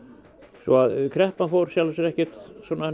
svo að kreppan fóru í sjálfu sér ekkert